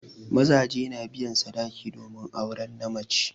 Mazaje na biyan sadaki domin auren na mace.